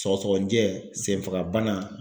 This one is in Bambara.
Sɔgɔsɔgɔnijɛ senfaga bana